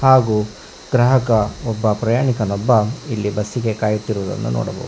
ಹಾಗು ಗ್ರಾಹಕ ಒಬ್ಬ ಪ್ರಯಾಣಿಕನ್ನೊಬ್ಬ ಇಲ್ಲಿ ಬಸ್ ಗೆ ಕಾಯುತ್ತಿರುವುದನ್ನು ನೋಡಬ--